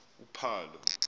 uphalo